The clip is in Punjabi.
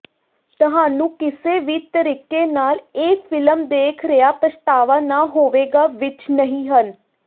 ਤੁਹਾਨੂੰ ਕਿਸੇ ਵੀ ਤਰੀਕੇ ਨਾਲ ਇਹ ਫਿਲਮ ਦੇਖ ਰਿਹਾ ਪਛਤਾਵਾ ਨਾ ਹੋਵੇਗਾ ਵਿਚ ਨਹੀ ਹਨ